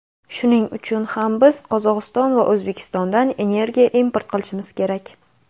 Shuning uchun ham biz Qozog‘iston va O‘zbekistondan energiya import qilishimiz kerak.